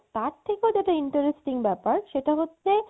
তার থেকেও interesting ব্যাপার সেটা হচ্ছে